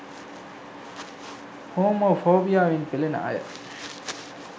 Homo ෆෝබියාවෙන් පෙලෙන අය